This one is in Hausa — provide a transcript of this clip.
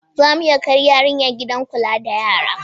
Za mu iya kai yarinya gidan kula da yara?